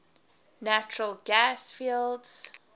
natural gas fields